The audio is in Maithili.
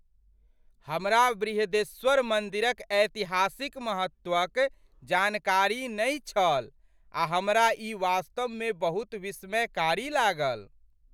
हमरा बृहदीश्वर मन्दिरक ऐतिहासिक महत्वक जानकारी नहि छल आ हमरा ई वास्तवमे बहुत विस्मयकारी लागल ।